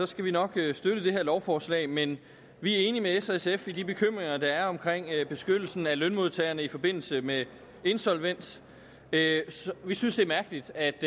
skal vi nok støtte det her lovforslag men vi er enige med s og sf i de bekymringer der er omkring beskyttelsen af lønmodtagerne i forbindelse med insolvens vi synes det er mærkeligt at